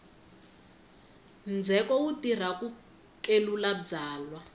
ndzheko wu tirha ku kelula byalwa